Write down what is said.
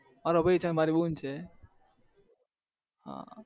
મારો ભાઈ છે અને મારી બુન છે